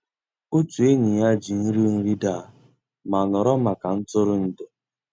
Ótú ényí yá jì nrí nri dàà má nọ̀rọ́ màkà ntụ́rụ́èndụ́.